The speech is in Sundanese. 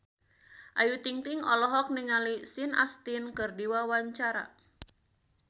Ayu Ting-ting olohok ningali Sean Astin keur diwawancara